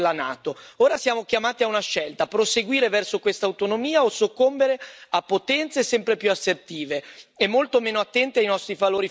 Ora siamo chiamati a una scelta proseguire verso questa autonomia o soccombere a potenze sempre più assertive e molto meno attente ai nostri valori fondamentali.